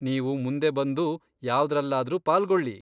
ನೀವು ಮುಂದೆ ಬಂದು ಯಾವ್ದ್ರಲ್ಲಾದ್ರೂ ಪಾಲ್ಗೊಳ್ಳಿ.